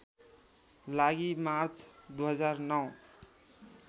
लागि मार्च २००९